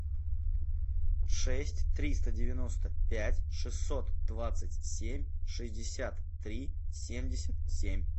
шесть триста девяносто пять шестьсот двадцать семь шестьдесят три семьдесят семь